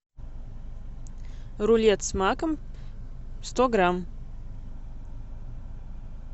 рулет с маком сто грамм